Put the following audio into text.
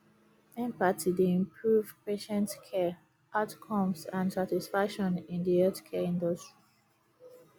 empathy dey improve patient care outcomes and satisfaction in di healthcare industry